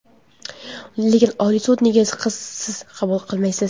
Lekin Oliy sud, nega siz qabul qilmaysiz?